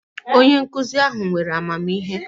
Onye nkuzi ahu were amamihe